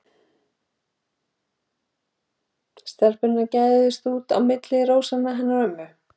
Stelpurnar gægðust út á milli rósanna hennar ömmu.